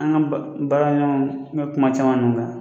An ka ba baara ɲɔgɔn kuma caman nun na